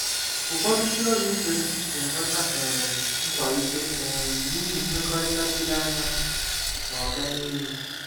Ụfọdụ ndị ọrụ ibe m na-enweta um nkwalite um n'ihi mmekọrịta chiri anya na “oga n'elu.”